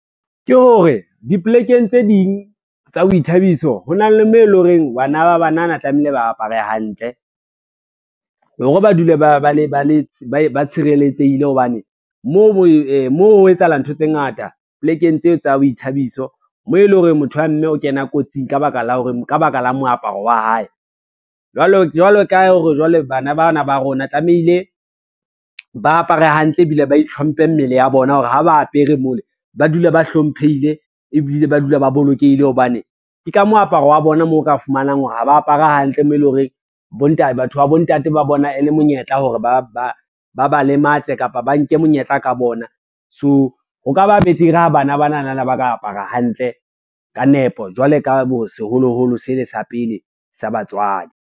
Ke hore, dipolekeng tse ding tsa boithabiso ho na le moo e lo reng bana ba banana tlamehile ba apare hantle, hore ba dule ba tshireletsehile hobane moo ho etsahala ntho tse ngata polekeng tseo tsa boithabiso, mo e lo reng motho wa mme o kena kotsing ka baka la moaparo wa hae. Jwalo ka hore jwale bana bana ba rona tlamehile, ba apare hantle ebile ba itlhomphe mmele ya bona hore ha ba apere mole, ba dula ba hlomphehile ebile ba dula ba bolokehile hobane ke ka mo aparo wa bona moo o ka fumanang hore ha ba apare hantle mo e lo reng batho ba bontate ba bona e le monyetla hore ba lematse kapa ba nke monyetla ka bona. So, ho ka ba betere ha bana banana na ba ka apara hantle ka nepo jwalo ka seholoholo se le sa pele sa batswadi.